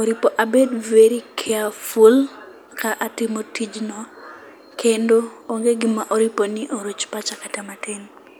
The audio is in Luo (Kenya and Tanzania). ,oripo abed very carefull ka atimo tijno kendo onge gima oripo ni oruch pacha kata matin.